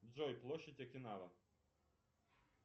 джой площадь окинава